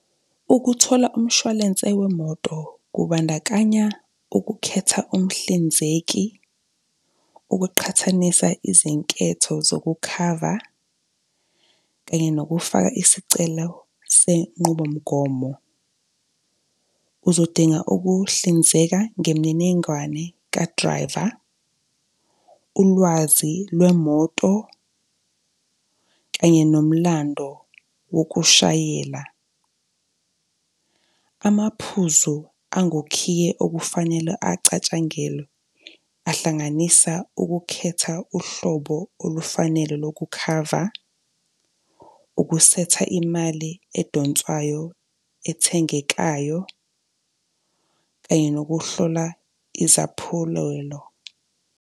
Ukuthola umshwalense wemoto kubandakanya ukukhetha umhlinzeki, ukuqhathanisa izinketho zokukhava kanye yokufaka isicelo senqubo mgomo. Uzodinga ukuhlinzeka ngemininingwane ka-driver, ulwazi lwemoto kanye nomlando wokushayela. Amaphuzu angukhiye okufanele acatshangelwe ahlanganisa ukukhetha uhlobo olufanele lokukhava, ukusetha imali edonswayo ethengekayo kanye nokuhlola izaphulelo.